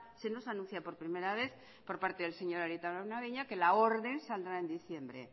se nos anuncia por primera vez por parte del señor arieta araunabeña que la orden saldrá en diciembre